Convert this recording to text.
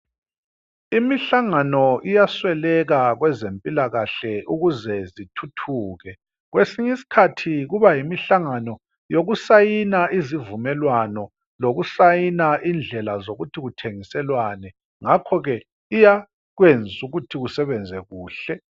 Imihlangano iyasweleka kwezempilakahle ukuze zithuthuke. Kwesinye isikhathi kubayimihlangano yokusayina izivumelwano lokusayina indlela zokuthi kuthengiselwane. Ngakhoke iyakwenza ukuthi kusebenzwe kuhle.